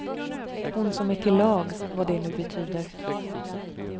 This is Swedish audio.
Hon som är till lags, vad det nu betyder.